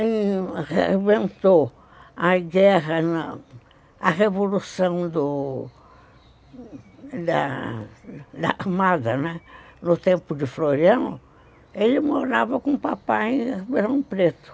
que rebentou a guerra, a revolução do da armada, né, no tempo de Floriano, ele morava com o papai em Ribeirão Preto.